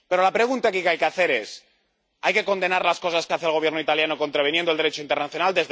Pero la pregunta que hay que hacer aquí es ¿Hay que condenar las cosas que hace el Gobierno italiano, contraviniendo el Derecho internacional?